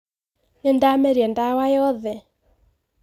Nĩndameria dawa yothe